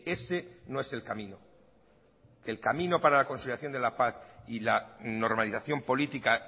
ese no es el camino el camino para la consolidación de la paz y la normalización política